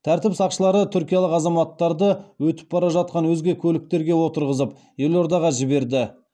тәртіп сақшылары түркиялық азаматтарды өтіп бара жатқан өзге көліктерге отырғызып елордаға жіберді